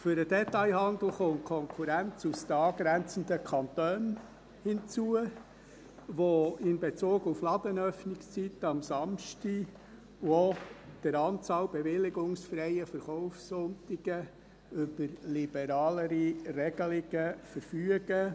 Für den Detailhandel kommt die Konkurrenz aus den angrenzenden Kantonen hinzu, die bezüglich Ladenöffnungszeiten am Samstag und auch der Anzahl bewilligungsfreier Verkaufssonntage über liberalere Regelungen verfügen: